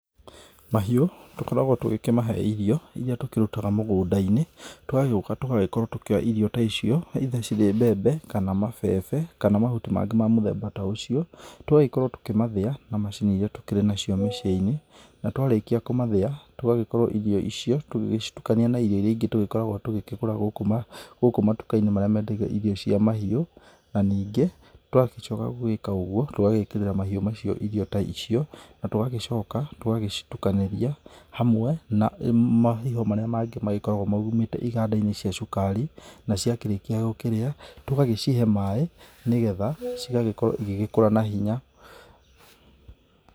Mahĩu tũkoragwo tũgĩkĩmahe irio iria tũkĩrutaga mũgũnda-inĩ, tũgagĩũka tũgagĩkorwo tũkĩoya irio ta icio either cirĩ mbembe, kana mabebe, kana mahuti mangĩ ma mũthemba ta ũcio, tũgagĩkorwo tũkĩmathĩya na macini iria tũkĩrĩ nacio mĩciĩ-inĩ, na twarĩkia kũmathĩya tũgagĩkorwo irio icio tũgĩgĩcitukania na irio ingĩ tũgĩkoragwo tũgũrĩte gũkũ matuka-inĩ marĩa mendagio irio cia mahiũ. Na ningĩ twagĩcoka gũgĩka ũguo, tũgagĩkĩrĩra mahiũ macio irio ta icio, na tũgagĩcoka tũgagĩcitukanĩria hamwe na mahiho marĩa mangĩ magĩkoragwo maumĩte iganda-inĩ cia cukari, na ciakĩrĩkia gũkĩrĩa tũgagĩcihe maĩ, nĩgetha cigagĩkorwo na hinya.